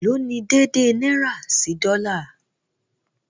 Ẹ̀ló̀ ní dèèdèè náírà sí dọ́là?